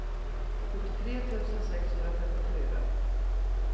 sjuttiotre tusen sexhundrafemtiofyra